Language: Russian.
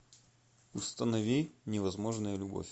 установи невозможная любовь